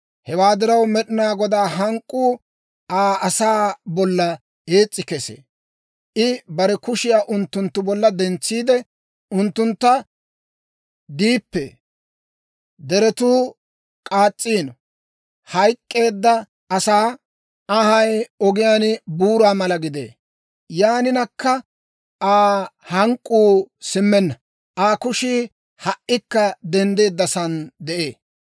Hewaa diraw, Med'inaa Godaa hank'k'uu Aa asaa bolla ees's'i kesee; I bare kushiyaa unttunttu bolla dentsiide, unttuntta shoc'eedda. Deretuu k'aas's'iino; hayk'k'eedda asaa anhay ogiyaan buura mala gidee; yaaninakka Aa hank'k'uu simmenna; Aa kushii ha"ikka denddeeddasaan de'ee.